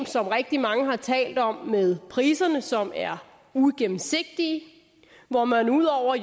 som rigtig mange har talt om med priserne som er uigennemsigtige hvor man jo ud over